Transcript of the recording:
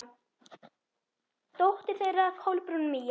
Dóttir þeirra: Kolbrún Mía.